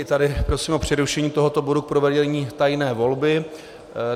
I tady prosím o přerušení tohoto bodu k provedení tajné volby.